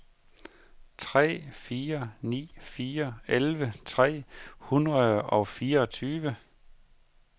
tre fire ni fire elleve tre hundrede og fireogtyve